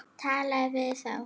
Talið við þá.